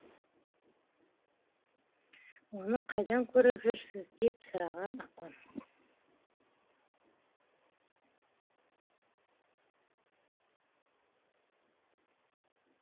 оны қайдан көріп жүрсіз деп сұраған апам